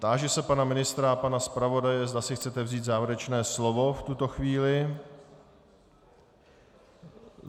Táži se pana ministra a pana zpravodaje, zda si chcete vzít závěrečné slovo v tuto chvíli.